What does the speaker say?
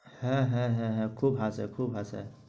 হ্যাঁ হ্যাঁ হ্যাঁ হ্যাঁ খুব হাসে খুব হাসে।